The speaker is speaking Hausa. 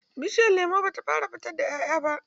Bishiyar lemon ba ta fara fitar da ƴaƴa ba.